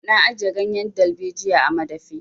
Na ajiye ganyen dalbejiyar a madafi.